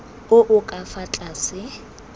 o o ka fa tlase